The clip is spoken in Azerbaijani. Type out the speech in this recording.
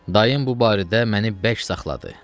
Dayım bu barədə məni bərk saxladı.